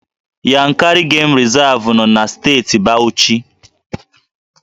Yankari Game Reserve nọ na Steeti Bauchi